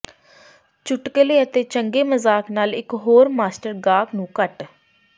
ਚੁਟਕਲੇ ਅਤੇ ਚੰਗੇ ਮਜ਼ਾਕ ਨਾਲ ਇਕ ਹੋਰ ਮਾਸਟਰ ਗਾਹਕ ਨੂੰ ਕੱਟ